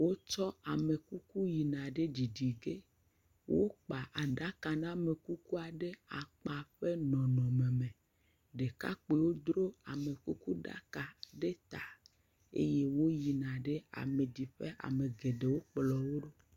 Wotsɔ amekuku yina ɖe ɖiɖiƒe, wokpa aɖaka na amekukua ɖe akpa ƒe nɔnɔme me, ɖekakpuiwo do amekukuɖaka ɖe ta eye woyina ɖe ameɖiƒea am geɖewo kplɔ wo ɖo.